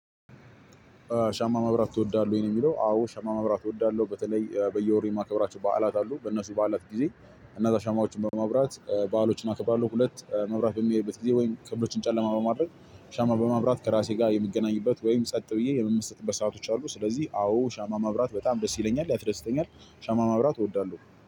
ሻማ ማብራት ትወዳለህ? የሚለው አዎ ሻማ ማብራት እወዳለሁ። በተለይ በየወሩ የማከብራቸው በዓላት አሉ። በእነሱ በዓላት ጊዜ እነዛ ሻማዎችን በማብራት ባዕሎችን አከብራለሁ። ሁለት መብራት በሚሄድበት ጊዜ ወይም ቅቦችን ጨለማ በማድረግ ሻማ በማብራት ከራሴ ጋር የምገናኝበት ወይም ጸጥ ብዬ የምመስቅበት ሰአቶች አሉ። ስለዚህ አዎ ሻማ ማብራት በጣም ደስ ይለኛል ያስደስተኛል ሻማ ማብራት እወዳለሁ።